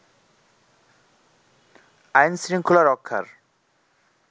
আইন, শৃঙ্খলা রক্ষার